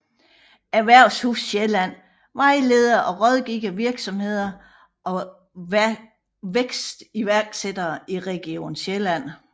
Erhvervshus Sjælland vejleder og rådgiver virksomheder og vækstiværksættere i region Sjælland